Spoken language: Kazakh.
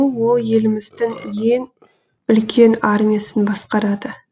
ол еліміздің ең үлкен армиясын басқарады